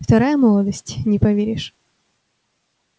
вторая молодость не поверишь